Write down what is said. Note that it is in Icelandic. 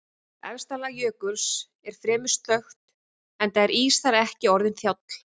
Efsta lag jökuls er fremur stökkt enda er ís þar ekki orðinn þjáll.